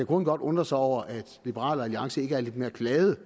grunden godt undre sig over at liberal alliance ikke er lidt mere glad